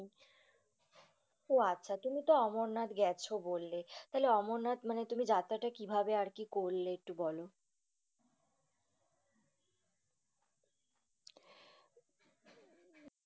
উহ আচ্ছা। তুমিতো অমরনাথ গেছো বললে। তাহলে অমরনাথ মানে তুমি যাত্রাটা কিভাবে আরকি করলে একটু বল।